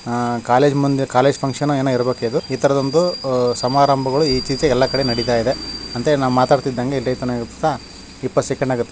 ಹಾ ಕಾಲೇಜ ಮುಂದೆ college function ಎನೊ ಇರಬೆಕು ಇದು ಇತರದು ಒಂದು ಸಮಾರಂಭಗಳು ಇತೀಚಿಗೆ ಎಲ್ಲ ಕಡೇ ನಡೆತ ಇದೆ ಅಂತಃ ಮಾತಾಡ್ ಇದ್ದಂಗೆ ಇಪ್ಪತ್ತು ಸೆಕೆಂಡ್ --